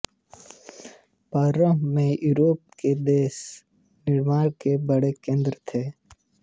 प्रारंभ में यूरोप के देश निर्माण के बड़े केन्द्र थे